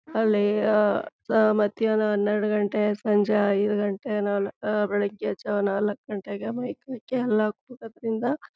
ಅಲ್ಲಿ ಆಹ್ಹ್ ಮಧ್ಯಾಹ್ನ ಹನ್ನೆರಡು ಗಂಟೆ ಸಂಜೆ ಐದು ಗಂಟೆ ಬೆಳಗ್ಗೆ ಜಾವಾ ನಾಲ್ಕು ಗಂಟೆಗೆ ಮೈಕ್ ಹಾಕಿ ಅಲ್ಲ ಕೂಗೊದ್ರಿಂದ--